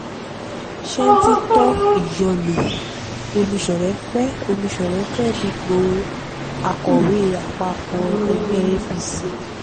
sẹ́ńtítọ́ ìyọlọ̀ ọmiṣọ̀rẹ̀ fẹ́ẹ́ ọmiṣọ̀rẹ̀ fẹ́ẹ́ dúpọ̀ akọ̀wé àpapọ̀ ẹgbẹ́ apc